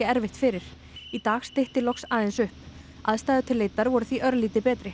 erfitt fyrir í dag stytti loks aðeins upp aðstæður til leitar voru því örlítið betri